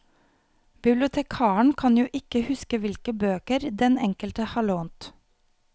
Bibliotekaren kan jo ikke huske hvilke bøker den enkelte har lånt.